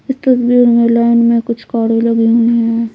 इस तस्वीर में लाइन में कुछ कारे लगी हुई है।